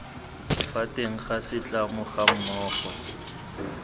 fa teng ga setlamo gammogo